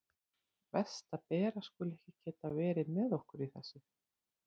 Verst að Bera skuli ekki geta verið með okkur í þessu.